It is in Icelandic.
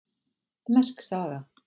Merk saga